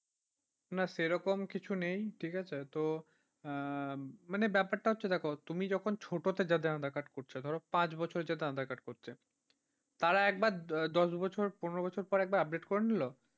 না, সে রকম কিছু নেই ঠিক আছে তো মানে ব্যাপারটা হচ্ছে দেখো তুমি যখন ছোটতে যাদের aadhaar card করছে, ধরো পাঁচ বছরে যাদের aadhaar card করছে, তারা একবার দশ বছর পনেরো বছর পর একবার update করে নিলো।